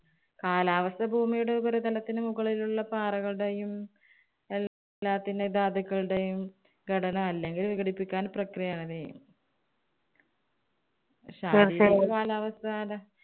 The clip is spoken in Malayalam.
കാലാവസ്ഥ ഭൂമിയുടെ ഉപരിതലത്തിന് മുകളിലുള്ള പാറകളുടെയും, എല്ലാത്തിന്‍റെ ധാതുക്കളുടെയും ഘടന അല്ലെങ്കിൽ വിഘടിപ്പിക്കാൻ പ്രക്രിയ ആണ്. കാലാവസ്ഥയുടെ